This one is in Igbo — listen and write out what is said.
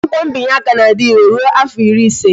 Akwụkwọ mbinye aka na-adire rụọ afọ ịrị ịse